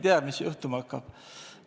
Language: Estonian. Me ei tea, mis juhtuma hakkab.